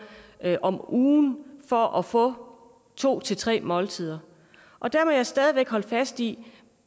om ugen for at få to tre måltider og der må jeg stadig væk holde fast i at